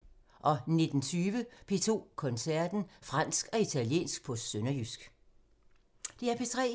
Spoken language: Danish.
DR P3